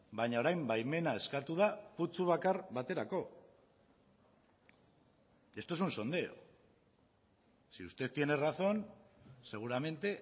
baina orain baimena eskatu da putzu bakar baterako esto es un sondeo si usted tiene razón seguramente